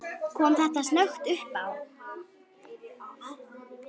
Kom þetta snöggt uppá?